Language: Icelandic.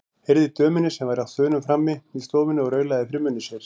Heyrði í dömunni sem var á þönum frammi í stofunni og raulaði fyrir munni sér.